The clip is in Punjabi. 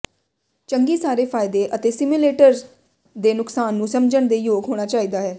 ਚੰਗੀ ਸਾਰੇ ਫ਼ਾਇਦੇ ਅਤੇ ਸਿਮੁਲੇਟਰਸ ਦੇ ਨੁਕਸਾਨ ਨੂੰ ਸਮਝਣ ਦੇ ਯੋਗ ਹੋਣਾ ਚਾਹੀਦਾ ਹੈ